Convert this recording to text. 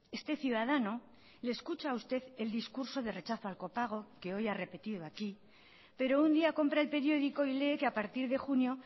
este ciudadano le escucha a usted el discurso de rechazo al copago que hoy ha repetido aquí pero un día compra el periódico y lee que a partir de junio